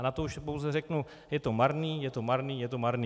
A na to už pouze řeknu, je to marný, je to marný, je to marný.